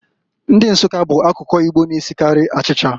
Ndi Nsukka bụ akụkụ Igbo na-esikarị achicha.